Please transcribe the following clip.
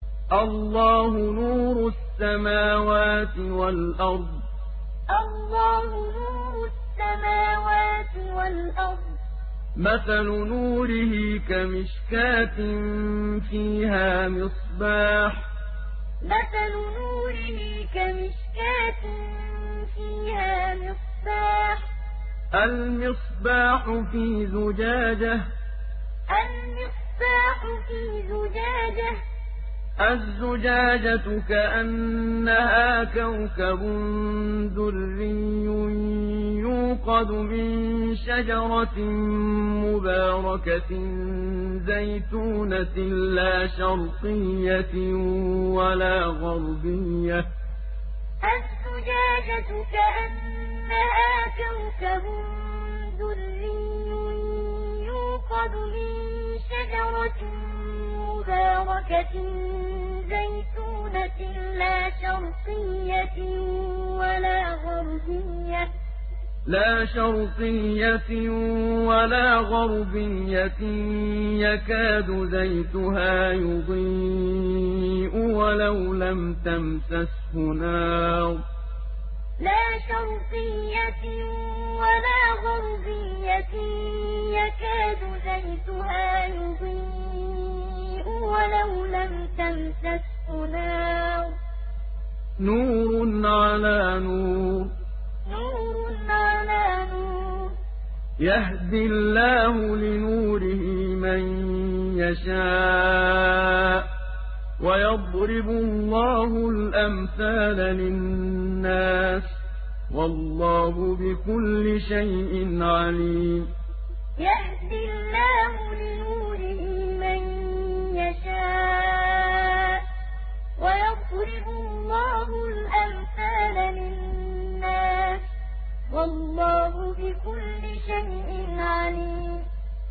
۞ اللَّهُ نُورُ السَّمَاوَاتِ وَالْأَرْضِ ۚ مَثَلُ نُورِهِ كَمِشْكَاةٍ فِيهَا مِصْبَاحٌ ۖ الْمِصْبَاحُ فِي زُجَاجَةٍ ۖ الزُّجَاجَةُ كَأَنَّهَا كَوْكَبٌ دُرِّيٌّ يُوقَدُ مِن شَجَرَةٍ مُّبَارَكَةٍ زَيْتُونَةٍ لَّا شَرْقِيَّةٍ وَلَا غَرْبِيَّةٍ يَكَادُ زَيْتُهَا يُضِيءُ وَلَوْ لَمْ تَمْسَسْهُ نَارٌ ۚ نُّورٌ عَلَىٰ نُورٍ ۗ يَهْدِي اللَّهُ لِنُورِهِ مَن يَشَاءُ ۚ وَيَضْرِبُ اللَّهُ الْأَمْثَالَ لِلنَّاسِ ۗ وَاللَّهُ بِكُلِّ شَيْءٍ عَلِيمٌ ۞ اللَّهُ نُورُ السَّمَاوَاتِ وَالْأَرْضِ ۚ مَثَلُ نُورِهِ كَمِشْكَاةٍ فِيهَا مِصْبَاحٌ ۖ الْمِصْبَاحُ فِي زُجَاجَةٍ ۖ الزُّجَاجَةُ كَأَنَّهَا كَوْكَبٌ دُرِّيٌّ يُوقَدُ مِن شَجَرَةٍ مُّبَارَكَةٍ زَيْتُونَةٍ لَّا شَرْقِيَّةٍ وَلَا غَرْبِيَّةٍ يَكَادُ زَيْتُهَا يُضِيءُ وَلَوْ لَمْ تَمْسَسْهُ نَارٌ ۚ نُّورٌ عَلَىٰ نُورٍ ۗ يَهْدِي اللَّهُ لِنُورِهِ مَن يَشَاءُ ۚ وَيَضْرِبُ اللَّهُ الْأَمْثَالَ لِلنَّاسِ ۗ وَاللَّهُ بِكُلِّ شَيْءٍ عَلِيمٌ